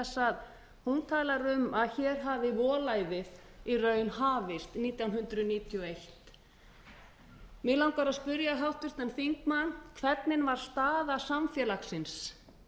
að hún talar um að hér hafi volæðið í raun hafist nítján hundruð níutíu og eitt mig langar að spyrja háttvirtan þingmann hvernig var staða samfélagsins